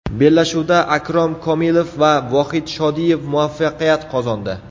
Bellashuvda Akrom Komilov va Vohid Shodiyev muvaffaqiyat qozondi.